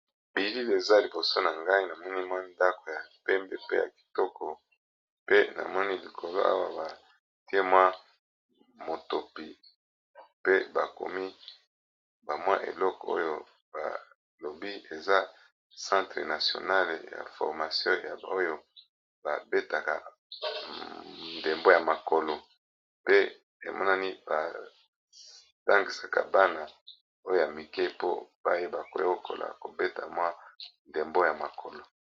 Bilili eza Liboso na ngo eza centre de formation po na ko bete ndembo ya makolo.